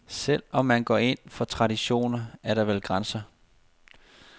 Selv om man går ind for traditioner, er der vel grænser.